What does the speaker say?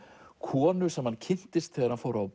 konu sem hann kynntist þegar hann fór á